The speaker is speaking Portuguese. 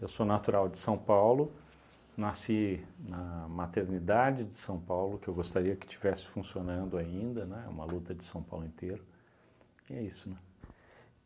Eu sou natural de São Paulo, nasci na maternidade de São Paulo, que eu gostaria que estivesse funcionando ainda, né, é uma luta de São Paulo inteiro, e é isso, né?